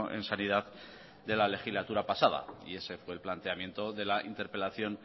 en sanidad de la legislatura pasada y ese fue el planteamiento de la interpelación